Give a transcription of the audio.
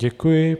Děkuji.